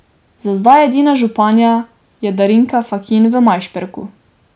Za zdaj edina županja je Darinka Fakin v Majšperku.